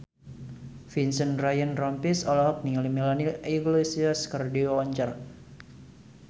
Vincent Ryan Rompies olohok ningali Melanie Iglesias keur diwawancara